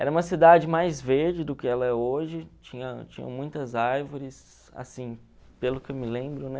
Era uma cidade mais verde do que ela é hoje, tinha tinha muitas árvores, assim, pelo que eu me lembro, né?